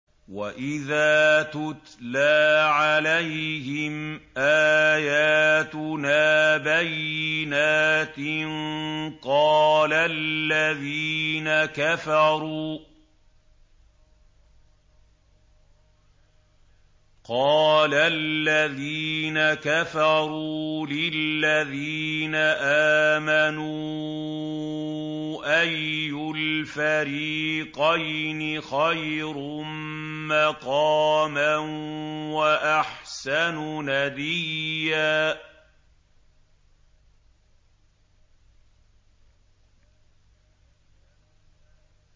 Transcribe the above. وَإِذَا تُتْلَىٰ عَلَيْهِمْ آيَاتُنَا بَيِّنَاتٍ قَالَ الَّذِينَ كَفَرُوا لِلَّذِينَ آمَنُوا أَيُّ الْفَرِيقَيْنِ خَيْرٌ مَّقَامًا وَأَحْسَنُ نَدِيًّا